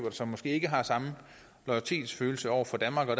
og som måske ikke har samme loyalitetsfølelse over for danmark og